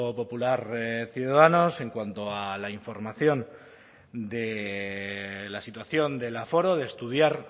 popular ciudadanos en cuanto a la información de la situación del aforo de estudiar